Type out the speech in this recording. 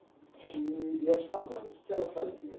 E e a sua mãe, que que ela fazia?